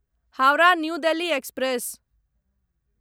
Howrah new Delhi express